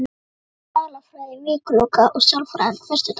Það er sálarfræði vikuloka, og sálarfræði föstudaga.